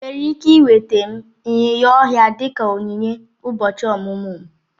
Ị nwere ike nweta m ịnyịnya ọhịa dị ka onyinye ụbọchị ọmụmụ m?